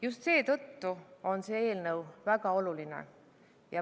Just seetõttu on see eelnõu väga oluline.